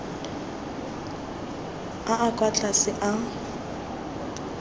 a a kwa tlase a